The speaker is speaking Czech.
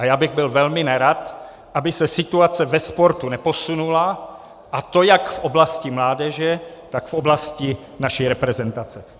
A já bych byl velmi nerad, aby se situace ve sportu neposunula, a to jak v oblasti mládeže, tak v oblasti naší reprezentace.